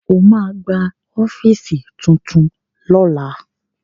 Ó ma gba ọ́fíìsì tuntun lọ́la